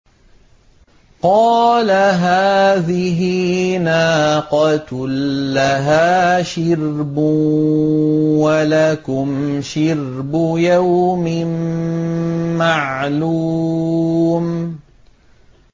قَالَ هَٰذِهِ نَاقَةٌ لَّهَا شِرْبٌ وَلَكُمْ شِرْبُ يَوْمٍ مَّعْلُومٍ